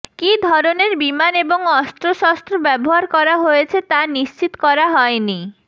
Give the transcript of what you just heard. কী ধরনের বিমান এবং অস্ত্রশস্ত্র ব্যবহার করা হয়েছে তা নিশ্চিত করা হয় নি